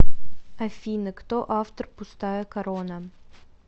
афина кто автор пустая корона